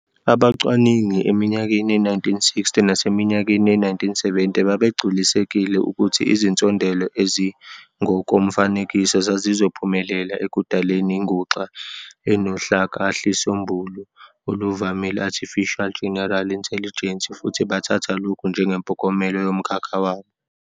Abacwaningi eminyakeni ye-1960 naseminyakeni ye-1970 babegculisekile ukuthi izinsondelo ezingokomfanekiso zazizophumelela ekudaleni inguxa enohlakahlisombulu oluvamile "artificial general intelligence" futhi bathatha lokhu njengempokompelo yomkhakha wabo.